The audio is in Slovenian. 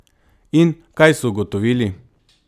In kaj so ugotovili?